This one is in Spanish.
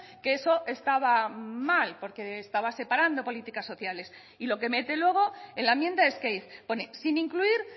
que eso estaba mal porque estaba separando políticas sociales y lo que mete luego en la enmienda es que pone sin incluir